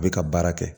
A bɛ ka baara kɛ